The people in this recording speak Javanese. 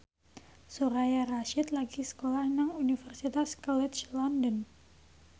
Soraya Rasyid lagi sekolah nang Universitas College London